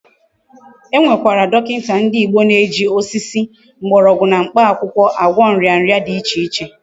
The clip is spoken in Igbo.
E Nwekwara dokinta ndi Igbo ndi na eji osisi, mgborogwu na mkpa akwukwo agwo nria nria di iche iche